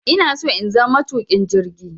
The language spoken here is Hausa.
Inaso in zama matuƙin jirgi